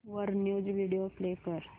वर news video play कर